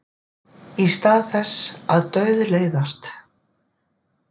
Í stað þess að dauðleiðast.